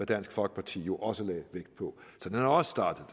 dansk folkeparti jo også lagde vægt på så den er også startet